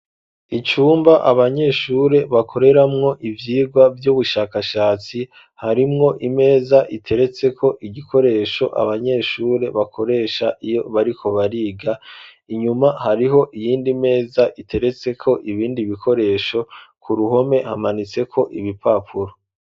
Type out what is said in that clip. Icumba abanyeshure bakoreramwo ivyigwa vy'ubushakashatsi harimwo imeza iteretseko igikoresho abanyeshure bakoresha iyo bariko bariga, inyuma hariho iyindi meza iteretseko ibindi bikoresho, ku ruhome hamanitseko ibipapuro.